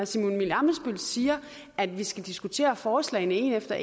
simon emil ammitzbøll siger at vi skal diskutere forslagene et efter